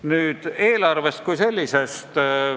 Nüüd eelarvest kui sellisest.